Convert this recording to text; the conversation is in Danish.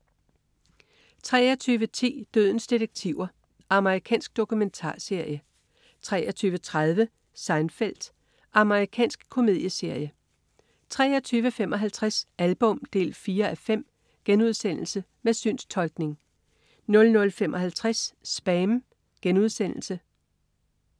23.10 Dødens detektiver. Amerikansk dokumentarserie 23.30 Seinfeld. Amerikansk komedieserie 23.55 Album 4:5.* Med synstolkning 00.55 SPAM*